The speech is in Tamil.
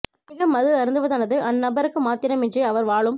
அதிக மது அருந்துவதானது அந் நபருக்கு மாத்திரமன்றி அவர் வாழும்